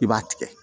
I b'a tigɛ